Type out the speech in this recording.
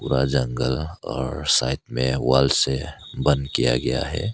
जगल और साइड में वॉल से बंद किया गया है।